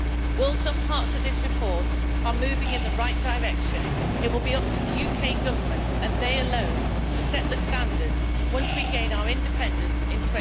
While some parts of this report are moving in the right direction, it will be up to the UK Government and it alone to set the standards once we gain our independence